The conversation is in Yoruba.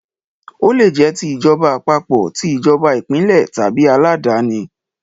Ó lè jẹ́ ti ìjọba àpapọ̀, ti ìjọba ìpínlẹ̀ tàbí aláàdáni.